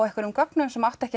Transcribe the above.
einhverjum gögnum sem átti ekki